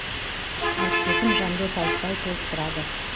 әріптесім жандос айтбай толықтырады